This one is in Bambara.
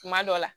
Kuma dɔ la